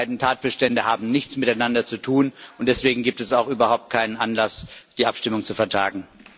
Die beiden Tatbestände haben nichts miteinander zu tun, und deswegen gibt es auch überhaupt keinen Anlass, die Abstimmung zu vertagen.